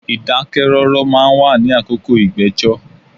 Ìdákẹ́ rọ́rọ́ ma ń wà ní àkókò ìgbẹ́jọ́.